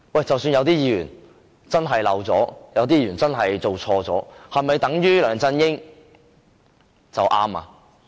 即使有議員真的漏了申報或做錯，是否等於梁振英做對了嗎？